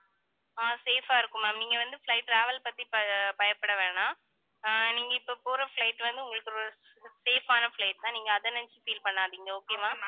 ஆஹ் safe ஆ இருக்கும் ma'am நீங்க வந்து flight travel பத்தி ப~ பயப்பட வேணாம். ஆஹ் நீங்க இப்ப போற flight வந்து, உங்களுக்கு ஒரு safe ஆன flight தான் நீங்க அதை நினைச்சு feel பண்ணாதீங்க okay வா